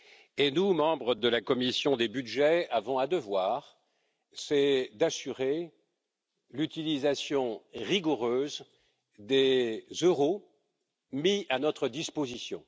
Et nous, membres de la commission des budgets, avons un devoir, c'est d'assurer l'utilisation rigoureuse des euros mis à notre disposition.